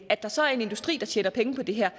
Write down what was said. at der så er en industri der tjener penge på det her